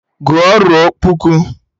Gụọ ruo kpuku!